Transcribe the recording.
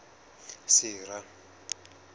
sera